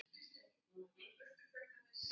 Þeir horfðu varla á hann.